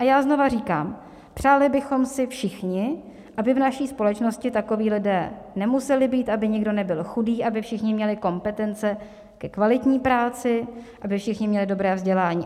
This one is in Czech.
A já znova říkám, přáli bychom si všichni, aby v naší společnosti takoví lidé nemuseli být, aby nikdo nebyl chudý, aby všichni měli kompetence ke kvalitní práci, aby všichni měli dobré vzdělání.